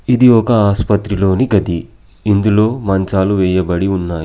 ఇది ఒక ఆసుపత్రిలోని గది. ఇందులో మంచాలు వేయబడి ఉన్నాయి.